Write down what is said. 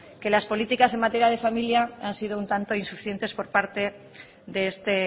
que las políticas en materia de familia han sido un tanto insuficientes por parte de este